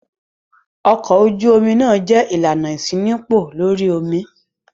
Ọkọ̀ ojú-omi náà jẹ́ ìlànà ìṣínípò lórí omi.